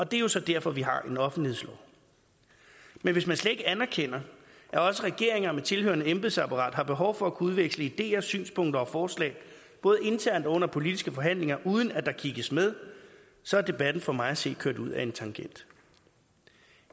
det er jo så derfor vi har en offentlighedslov men hvis man slet ikke anerkender at også regeringer med tilhørende embedsapparat har behov for at kunne udveksle ideer synspunkter og forslag både internt og under politiske forhandlinger uden at der kigges med så er debatten for mig at se kørt ud ad en tangent